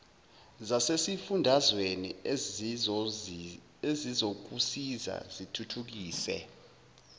zasesifundazweni ezizokusiza zithuthukise